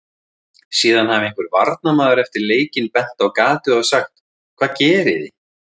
Síðan hafi einhver varnarmaður eftir leikinn bent á gatið og sagt: Hvað gerið þið?